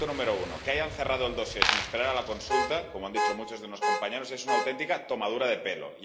Punto uno que hayan cerrado el dosier sin esperar a la consulta, como han dicho muchos de los compañeros, es una auténtica tomadura de pelo